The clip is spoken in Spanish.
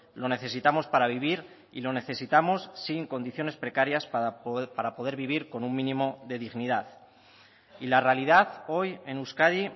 lo necesitamos para vivir y lo necesitamos sin condiciones precarias para poder vivir con un mínimo de dignidad y la realidad hoy en euskadi